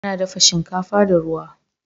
Ana dafa shinkafa da ruwa.